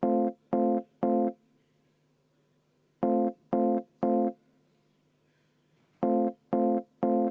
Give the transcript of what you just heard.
Austatud eesistuja!